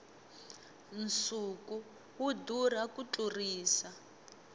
nsuku wu durha ku tlurisa